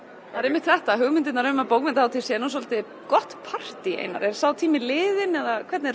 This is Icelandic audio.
það er einmitt þetta hugmyndirnar um að bókmenntahátíð sé nú svolítið gott partí Einar er sá tími liðinn eða hvernig er